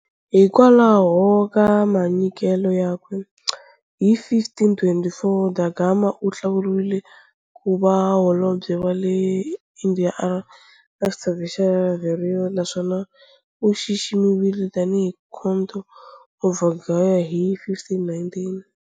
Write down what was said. Hikwalaho ka manyikelo yakwe, hi 1524 da Gama u hlawuriwile ku va Holobye wa le Indiya, a ri ni xithopo xa Viceroy, naswona u xiximiwile tanihi Count of Vidigueira hi 1519.